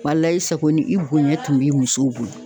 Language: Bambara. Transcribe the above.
Walayi i sako ni i bonya tun b'i musow bolo.